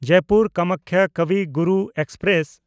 Jaipur Kamakhya Kavi Guru express